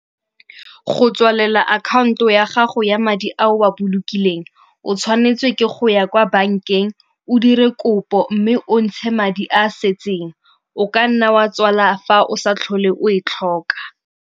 Go tswalela akhanto ya gago ya madi a o a bolokileng, o tshwanetswe ke go ya kwa bankeng o dire kopo mme o ntshe madi a setseng. O ka nna wa tswala fa o sa tlhole o e tlhoka.